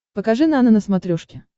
покажи нано на смотрешке